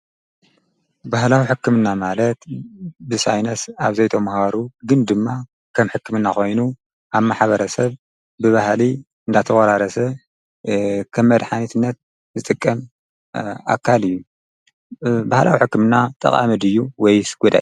ባህላዊ ሕክምና ማለት ብሳይነስ ኣብ ዘይቶምሃሩ ግን ድማ ከም ሕክምእና ኾይኑ፤ ኣብ ማሓበረ ሰብ ብባህሊ እንዳተወራረሰ ኸም መድኃኒትነት ዝጥቀም ኣካል እዩ። ብህላዊ ሕክምና ጠቓምድ ዩ ወይስ ይጐደእ?